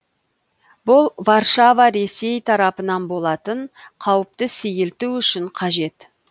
бұл варшава ресей тарапынан болатын қауіпті сейілту үшін қажет